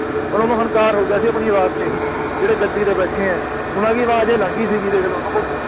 ਓਹਨਾ ਨੂੰ ਹੰਕਾਰ ਹੋ ਗਿਆ ਸੀ ਆਪਣੀ ਆਵਾਜ਼ ਤੇ ਜਿਹੜੇ ਗੱਦੀ ਤੇ ਬੈਠੇ ਆ ਓਹਨਾ ਦੀ ਆਵਾਜ਼ ਹੀ ਅਲੱਗ ਸੀਗੀ ਦੇਖ ਲੋ